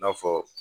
I n'a fɔ